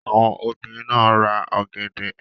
Àwọn obìrin náà ra ọ̀gẹ̀dẹ̀.